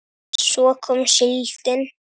Svo kom síldin.